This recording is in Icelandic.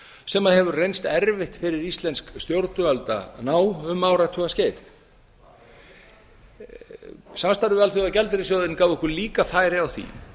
sem hefur reynst erfitt fyrir íslensk stjórnvöld að ná um áratuga skeið samstarfið við alþjóðagjaldeyrissjóðinn gaf okkur líka færi á því